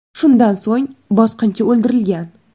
Shundan so‘ng bosqinchi o‘ldirilgan.